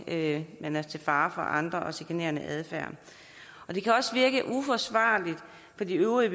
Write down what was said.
at man er til fare for andre og udviser chikanerende adfærd det kan også virke uforsvarligt for de øvrige